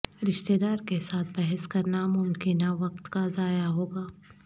رشتہ دار کے ساتھ بحث کرنا ممکنہ وقت کا ضائع ہوگا